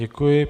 Děkuji.